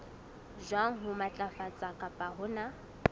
jwang ho matlafatsa kapa hona